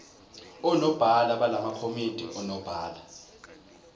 onobhala balamakomidi onobhala